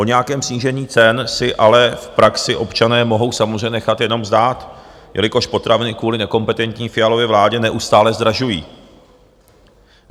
O nějakém snížení cen si ale v praxi občané mohou samozřejmě nechat jenom zdát, jelikož potraviny kvůli nekompetentní Fialově vládě neustále zdražují.